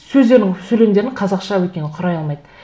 сөздерін сөйлемдерін қазақша өйткені құрай алмайды